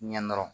Ɲɛ dɔrɔn